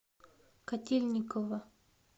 котельниково